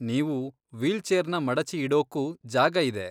ನೀವು ವೀಲ್ಚೇರ್ನ ಮಡಚಿ ಇಡೋಕೂ ಜಾಗ ಇದೆ.